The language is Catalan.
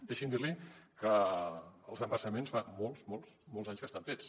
deixi’m dir li que els embassaments fa molts molts molts anys que estan fets